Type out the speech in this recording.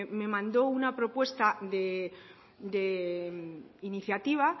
me mandó una propuesta de iniciativa